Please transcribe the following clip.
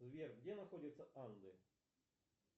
сбер где находятся анды